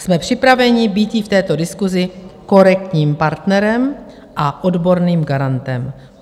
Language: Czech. Jsme připraveni být jí v této diskusi korektním partnerem a odborným garantem."